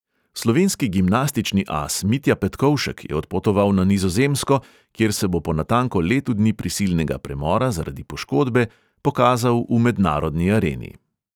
Slovenski gimnastični as mitja petkovšek je odpotoval na nizozemsko, kjer se bo po natanko letu dni prisilnega premora zaradi poškodbe pokazal v mednarodni areni.